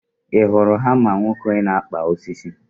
ị hụrụ hama nwoke na-apị osisi?